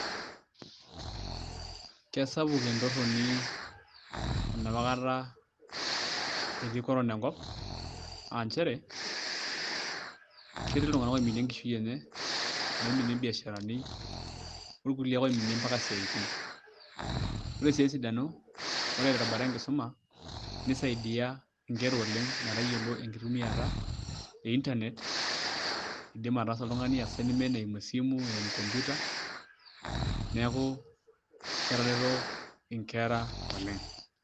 Kesapuk entorroni enapa kata etii Corona enkop ketii iltung'anak oiminie enkishui enye iloiminie imbiasharani orkulie oiminie mpaka isiatin ore sii esidano ore tembata enkisuma nisaidia nkerra metayiolo enkitumiata e internet iindim ataasa oltung'ani assignment eimu esimu, eimu computer neeku ketareto nkerra oleng'.